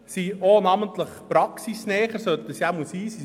Die FH sind praxisnäher oder sie sollten dies zumindest sein.